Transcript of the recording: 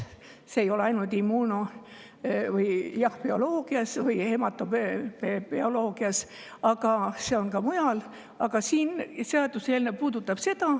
See ei ole ainult immuunobioloogias või hematobioloogias, aga see on ka mujal.